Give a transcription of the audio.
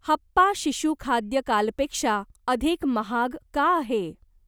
हप्पा शिशु खाद्य कालपेक्षा अधिक महाग का आहे?